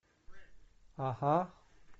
ага